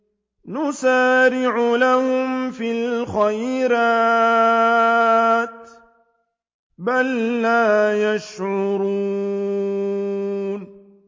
نُسَارِعُ لَهُمْ فِي الْخَيْرَاتِ ۚ بَل لَّا يَشْعُرُونَ